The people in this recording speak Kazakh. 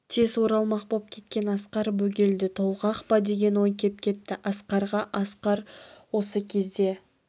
тез оралмақ боп кеткен асқар бөгелді толғақ па деген ой кеп кетті асқарға асқар осы кезде